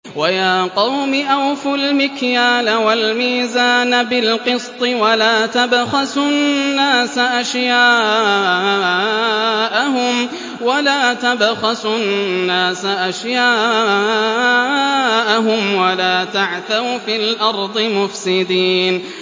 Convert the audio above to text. وَيَا قَوْمِ أَوْفُوا الْمِكْيَالَ وَالْمِيزَانَ بِالْقِسْطِ ۖ وَلَا تَبْخَسُوا النَّاسَ أَشْيَاءَهُمْ وَلَا تَعْثَوْا فِي الْأَرْضِ مُفْسِدِينَ